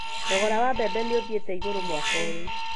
Thogora wa mbembe nĩ ũthiĩte igũrũ mwaka ũyũ